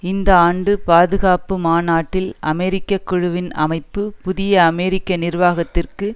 இந்த ஆண்டு பாதுகாப்பு மாநாட்டில் அமெரிக்க குழுவின் அமைப்பு புதிய அமெரிக்க நிர்வாகத்திற்கு